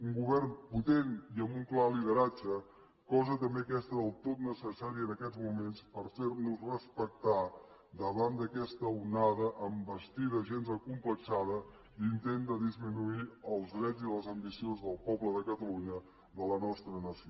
un govern potent i amb un clar lideratge cosa també aquesta del tot necessària en aquests moments per fer nos respectar davant d’aquesta onada envestida gens acomplexada d’intent de disminuir els drets i les ambicions del poble de catalunya de la nostra nació